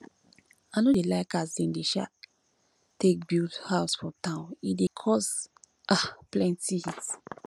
i no dey like as dem um dey take build house for town e dey cause um plenty heat